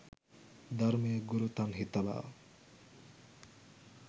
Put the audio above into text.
ධර්මය ගුරුතන්හි තබා